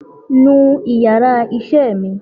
nú íyarà iṣẹ mí!